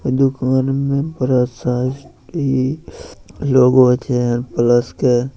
दुकान में ब्रश है इ लोगो छै प्लस के।